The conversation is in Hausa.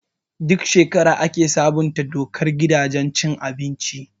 Duk shekara ake sabunta dokar gidajen cin abinci.